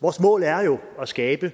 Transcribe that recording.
vores mål er jo at skabe